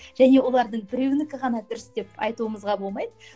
және олардың біреуінікі ғана дұрыс деп айтуымызға болмайды